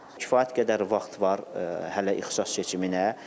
Kifayət qədər vaxt var hələ ixtisas seçiminə.